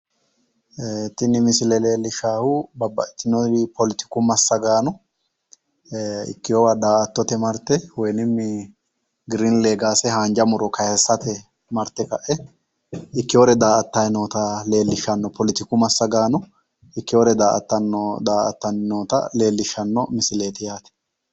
Tinni misille leelishaahu babbaxitinori politiku massagaano ikeowa daattote marte woyi giriinni leegaase haanja muro kayisate marte ka'e ikeore daattayi nootta leelishano politiku massagaano ikeore daattanna leelishano misileeti.